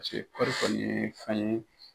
Paseke kɔɔri kɔni ye fɛn ye.